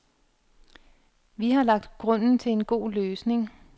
Vi har lagt grunden til en god løsning.